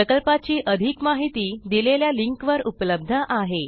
प्रकल्पाची अधिक माहिती दिलेल्या लिंकवर उपलब्ध आहे